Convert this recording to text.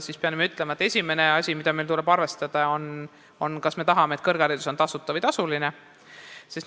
Ma pean ütlema, et esimene asi, mida meil tuleb arvestada, on see, kas me tahame tasuta või tasulist kõrgharidust.